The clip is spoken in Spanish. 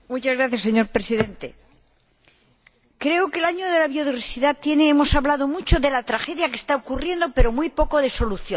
Señor Presidente, creo que en el Año de la Biodiversidad hemos hablado mucho de la tragedia que está ocurriendo, pero muy poco de soluciones.